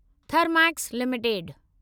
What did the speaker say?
Thermax limited